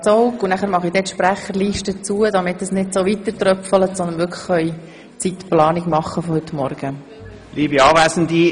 Dann schliesse ich die Sprecherliste, damit die Anmeldungen nicht weiter so hereintröpfeln und wir die Zeitplanung für die heutige Morgensitzung machen können.